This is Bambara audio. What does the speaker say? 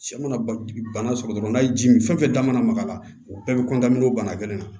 Sɛ mana ba bana sɔrɔ dɔrɔn n'a ye ji min fɛn fɛn da mana maga la o bɛɛ bɛ bana gɛlɛn na